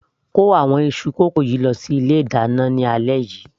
kó àwọn iṣu kókò lọ sí ilé ìdáná ní alẹ́ yìí